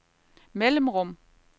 mellemrum